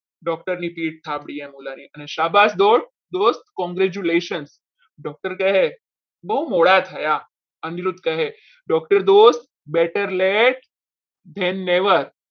doctor ની પીઠ આપવી એમ ઓલા ની શાબાશ દોસ્ત congratulation doctor કહે બહુ મોડા થયા અનિરુદ્ધ કહે doctor દોસ્ત better late then never